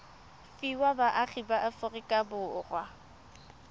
fiwa baagi ba aforika borwa